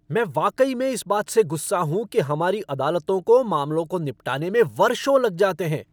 मैं वाकई में इस बात से गुस्सा हूँ कि हमारी अदालतों को मामलों को निपटाने में वर्षों लग जाते हैं।